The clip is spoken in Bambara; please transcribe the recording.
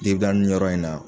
Nin ga nin yɔrɔ in na